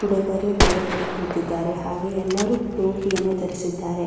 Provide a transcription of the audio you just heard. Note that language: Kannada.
ಹುಡುಗರು ಬೇರೆ ಕಡೆ ಕೂತಿದ್ದಾರೆ ಹಾಗೆ ಎಲ್ಲರು ಟೋಪಿಯನ್ನು ಧರಿಸಿದ್ದಾರೆ.